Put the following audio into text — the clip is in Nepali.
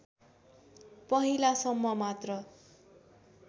पहिलासम्म मात्र